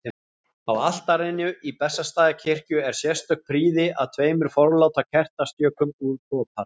Á altarinu í Bessastaðakirkju er sérstök prýði að tveimur forláta kertastjökum úr kopar.